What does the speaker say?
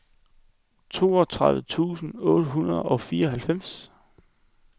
toogtredive tusind otte hundrede og fireoghalvfems